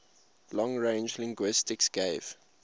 long range linguistics gave